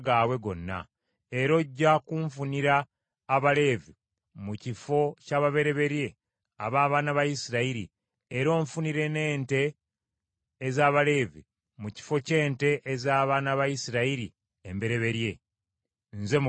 Era ojja kunfunira Abaleevi mu kifo ky’ababereberye ab’abaana ba Isirayiri, era onfunire n’ente ez’Abaleevi mu kifo ky’ente ez’abaana ba Isirayiri embereberye. Nze Mukama Katonda.”